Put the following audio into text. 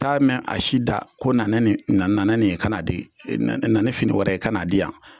T'a mɛ a si da ko na ne nin na na ne nin i kan'a di na ne fini wɛrɛ ye i ka n'a di yan.